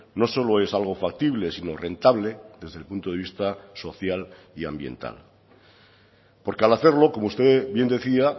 no solo es algo factible sino rentable desde el punto de vista social y ambiental porque al hacerlo como usted bien decía